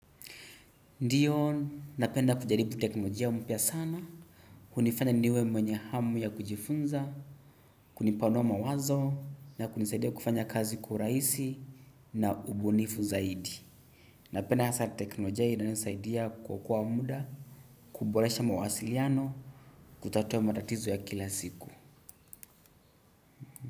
Ndiyo, napenda kujaribu teknolojia mpya sana, kunifanya niwe mwenye hamu ya kujifunza, kunipanua mawazo, na kunisaidia kufanya kazi kwa urahisi na ubunifu zaidi. Napenda hasa teknolojia inayonisaidia kuokoa muda, kuboresha mawasiliano, kutatua matatizo ya kila siku.